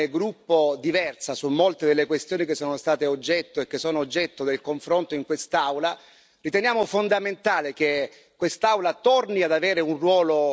La nostra posizione è molto chiara abbiamo una posizione come gruppo diversa su molte delle questioni che sono state e che sono oggetto del confronto in quest'Aula.